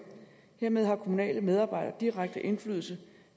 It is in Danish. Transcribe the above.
hermed har kommunale medarbejdere direkte indflydelse